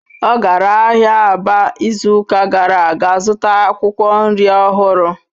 Ọ gara ahịa Aba izuụka gara aga zụta akwụkwọ nri ọhụrụ